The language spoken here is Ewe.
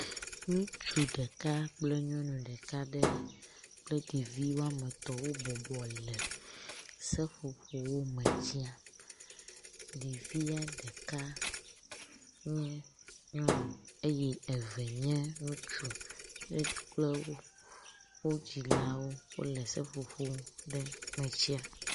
ŋutsu ɖeka kple nyɔŋu ɖeka ɖe kple ɖevi woametɔ̃ wó bɔbɔ le seƒoƒowo me tsiam ɖevia ɖeka nye nyɔŋu ye eve nye ŋutsu kple wó dzilawo wóle seƒoƒo ɖe me tsia